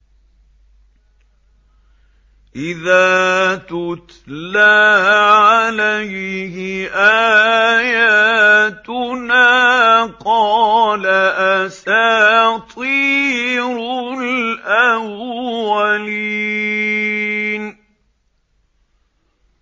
إِذَا تُتْلَىٰ عَلَيْهِ آيَاتُنَا قَالَ أَسَاطِيرُ الْأَوَّلِينَ